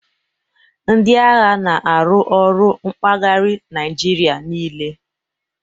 Ndị agha n'aru ọrụ mpaghari Naijiria niile